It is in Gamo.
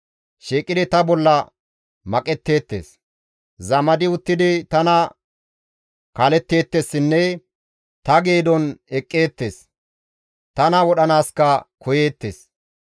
Shiiqidi ta bolla maqetteettes; zamadi uttidi tana kaaletteettessinne ta geedon eqqetteettes; tana wodhanaaska koyeettes.